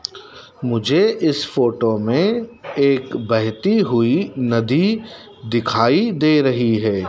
मुझे इस फोटो में एक बहती हुई नदी दिखाई दे रही है।